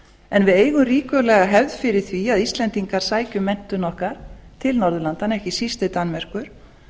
en við eigum ríkulega hefð fyrir því að við íslendingar sækjum menntun til norðurlandanna ekki síst til danmerkur